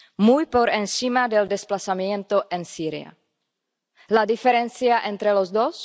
muy por encima del desplazamiento en Siria. ¿La diferencia entre los dos?